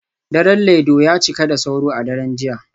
Daren Laido ya cika da sauro a daren jiya